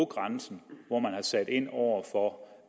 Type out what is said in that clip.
grænsen hvor man har sat ind over for